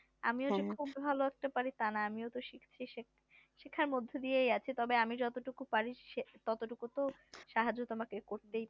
আমিও যে খুব ভালো পারি তা না আমিও শিখছি শেখার মধ্যে দিয়ে আছে তবে আমি যত টুকু পারি ততটুকু তো সাহায্য তোমাকে করতেই পারি